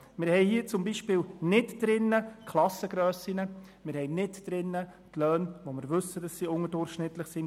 Wir haben zum Beispiel die Klassengrössen nicht drin oder die Löhne, von denen wir wissen, dass diese im Kanton Bern unterdurchschnittlich sind.